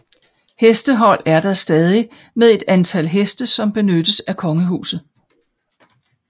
Hestehold er der stadig med et antal heste som benyttes af Kongehuset